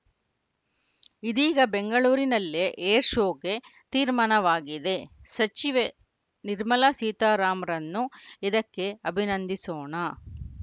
ಇದೀಗ ಬೆಂಗಳೂರಿನಲ್ಲೇ ಏರ್‌ಶೋಗೆ ತೀರ್ಮಾನವಾಗಿದೆ ಸಚಿವೆ ನಿರ್ಮಲಾ ಸೀತಾರಾಮ್ ರನ್ನು ಇದಕ್ಕೆ ಅಭಿನಂದಿಸೋಣ